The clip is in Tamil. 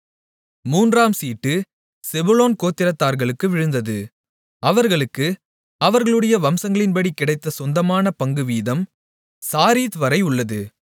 மூன்றாம் சீட்டு செபுலோன் கோத்திரத்தார்களுக்கு விழுந்தது அவர்களுக்கு அவர்களுடைய வம்சங்களின்படி கிடைத்த சொந்தமான பங்குவீதம் சாரீத் வரை உள்ளது